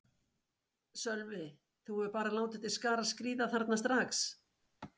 Sölvi: Þú hefur bara látið til skarar skríða þarna strax?